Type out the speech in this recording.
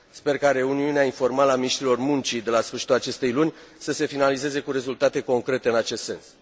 Sper ca reuniunea informală a miniștrilor muncii de la sfârșitul acestei luni să se finalizeze cu rezultate concrete în acest sens.